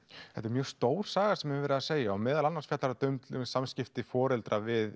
þetta er mjög stór saga sem verið að segja og meðal annars fjallar þetta um samskipti foreldra við